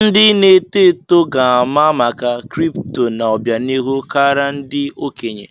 Ndị na-eto eto ga-ama maka kripto n'obianihu kara ndị okenye.